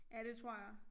Ja det tror jeg